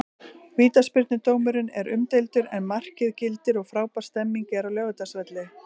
Vítaspyrnudómurinn er umdeildur en markið gildir og frábær stemning er á Laugardalsvelli.